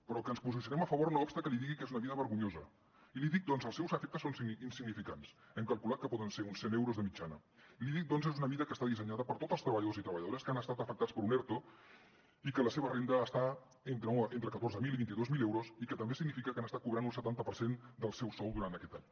però que ens posicionem a favor no obsta que li digui que és una mesura vergonyosa i l’hi dic perquè els seus efectes són insignificants hem calculat que poden ser uns cent euros de mitjana i l’hi dic perquè és una mesura que està dissenyada per a tots els treballadors i treballadores que han estat afectats per un erto i que la seva renda està entre catorze mil i vint dos mil euros i que també significa que han estat cobrant un setanta per cent del seu sou durant aquest any